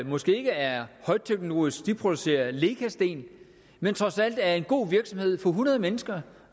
måske ikke er højteknologisk for de producerer lecasten men trods alt er en god virksomhed for hundrede mennesker